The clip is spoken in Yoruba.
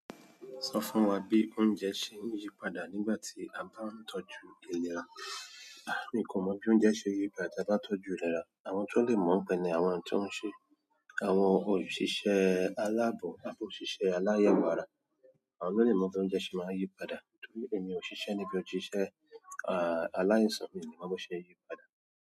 Sọ fún wa bí oúnjẹ ṣe ń yí padà nígbà tí a bá ń tọ́jú ìlera. Mi o ko mo bi oúnjẹ se n ri nígbà ti aba tọ́jú re dáadáa. Àwọn tó lè mọ̀ pẹ̀lú àwọn tó ń ṣe àwọn òṣìṣẹ́ aláàbò tàbí òṣìṣẹ́ aláyewoàrà. Àwọn ló lè mọ̀ bí oúnjẹ ṣe máa ń yí padà torí èmi ò ṣiṣẹ́ níbi òṣìṣẹ́ à àláisàn mi ò lè mọ bí ó ṣe ń yí padà.